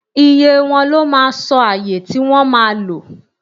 iye wọn, lọ mà sọ ayè ti wọn ma lò